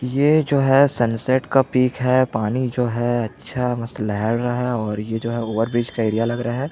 ये जो है सन सेट का पिक है पानी जो है अच्छा बस लेहेर रहा है और ये जो है ओवर ब्रिज का एरिया लग रहा हैं।